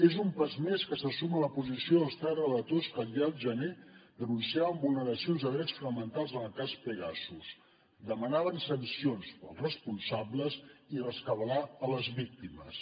és un pas més que se suma a la posició dels tres relators que ja al gener denunciaven vulneracions de drets fonamentals en el cas pegasus demanaven sancions per als responsables i rescabalar les víctimes